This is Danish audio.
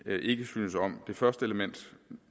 ikke synes om det første element